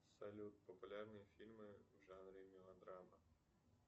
салют популярные фильмы в жанре мелодрама